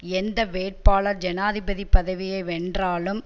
எந்த வேட்பாளர் ஜனாதிபதி பதவியை வென்றாலும்